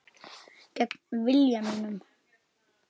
Gegn vilja mínum.